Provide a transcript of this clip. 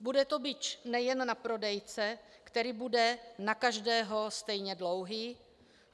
Bude to bič nejen na prodejce, který bude na každého stejně dlouhý.